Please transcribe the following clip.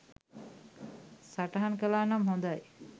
සටහන් කළානම් හොදයි.